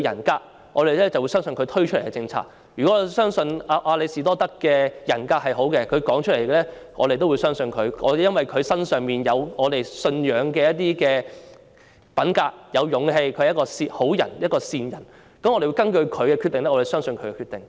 舉例來說，如果我們相信亞里士多德有好的人格，我們便會相信他的說話，而因為他身上有我們信仰的品格、勇氣，我們認為他是一個好人、一個善人，我們繼而相信他的決定。